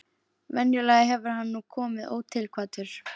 Venjulega hefur hann nú komið ótilkvaddur.